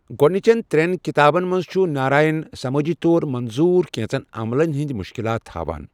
گوٚڈنِچین ترٛٮ۪ن کِتابن منز چھُ ناراین سمٲجی طور منظوٗر کینژن عملن ہٕنٛدۍ مُشکِلات ہاوان ۔